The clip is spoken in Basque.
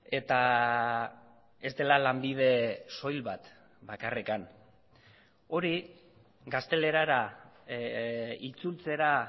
eta ez dela lanbide soil bat bakarrik hori gaztelerara itzultzera